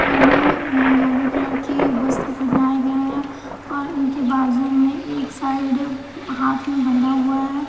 और ये yellow colour की वस्त्र बनाए गए हैं और इनके बाजू में एक साइड म हाथ में बंधा हुआ है।